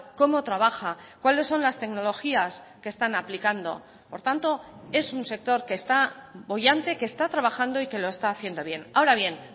cómo trabaja cuáles son las tecnologías que están aplicando por tanto es un sector que está boyante que está trabajando y que lo está haciendo bien ahora bien